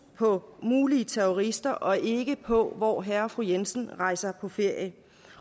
på mulige terrorister og ikke på hvor herre og fru jensen rejser på ferie